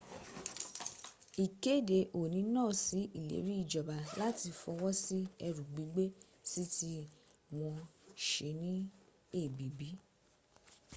ikede oni na sí ileri ijoba lati fowo sí eru gbigbe sii ti wọ́́n se ní èbìbí